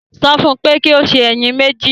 Sọ fún un pé kí ó sè ẹyin mẹ́jì